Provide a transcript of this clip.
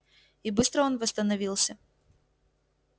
и быстро он восстановился